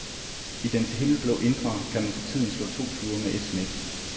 I dens himmelblå indre kan man for tiden slå to fluer med et smæk.